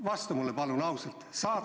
Vasta mulle palun ausalt!